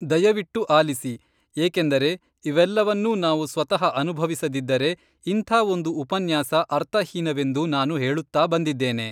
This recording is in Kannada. ದಯವಿಟ್ಟು ಆಲಿಸಿ, ಏಕೆಂದರೆ ಇವೆಲ್ಲವನ್ನೂ ನಾವು ಸ್ವತಃ ಅನುಭವಿಸದಿದ್ದರೆ, ಇಂಥ ಒಂದು ಉಪನ್ಯಾಸ ಅರ್ಥಹೀನವೆಂದು ನಾನು ಹೇಳುತ್ತಾ ಬಂದಿದ್ದೇನೆ.